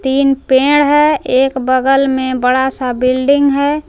तीन पेड़ है। एक बगल में बड़ा सा बिल्डिंग है।